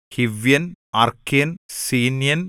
ഗിർഗ്ഗശ്യൻ ഹിവ്യൻ അർക്ക്യൻ സീന്യൻ